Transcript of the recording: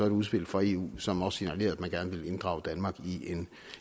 et udspil fra eu som signalerede at man gerne ville inddrage danmark i en